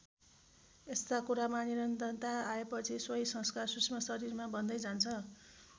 यस्ता कुरामा निरन्तरता आएपछि सोही संस्कार सूक्ष्म शरीरमा बस्दै जान्छ।